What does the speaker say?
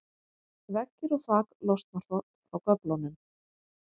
veggir og þak losna frá göflunum